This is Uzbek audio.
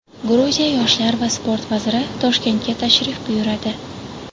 Gruziya yoshlar va sport vaziri Toshkentga tashrif buyuradi.